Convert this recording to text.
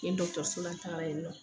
Yen dɔkɔtɔrɔsola n tagara yen nɔ